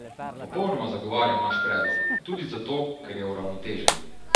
Popolnoma zagovarjam naš predlog, tudi zato, ker je uravnotežen.